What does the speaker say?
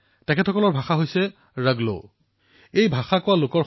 পিথৌৰাগড়ৰ ধাৰচুলাত ৰংগ সম্প্ৰদায়ৰ লোকে বাস কৰে তেওঁলোকে ৰগলো ভাষাত কথা পাতে